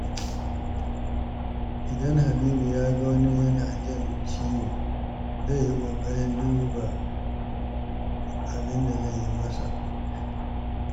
Idan Habibu ya ga wani yana jin ciwo, zai yi ƙoƙarin duba abin da zai iya yi masa.